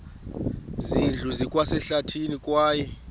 zindlu zikwasehlathini kwaye